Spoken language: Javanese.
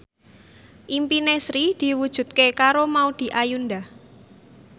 impine Sri diwujudke karo Maudy Ayunda